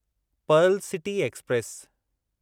Perl city express